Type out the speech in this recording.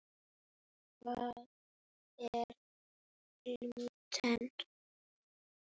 Hvað er glúten?